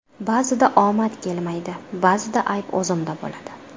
Ba’zida omad kelmaydi, ba’zida ayb o‘zimda bo‘ladi.